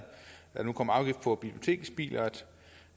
der nu kommer afgift på biblioteksbiler